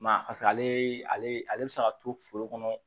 Ma paseke ale bɛ se ka to foro kɔnɔ